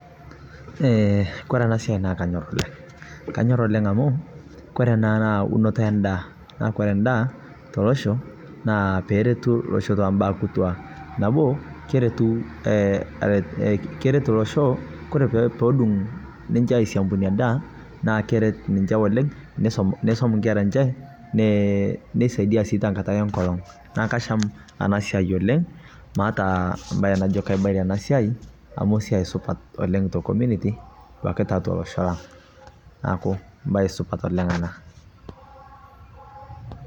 kore ana siai naa kanyor oleng, kore puudung ndaa neret ninchee meisomaa nkeraa enche neret sii ninche tankata enkolong